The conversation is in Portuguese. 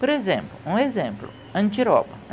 Por exemplo, um exemplo, andiroba.